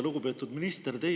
Lugupeetud minister!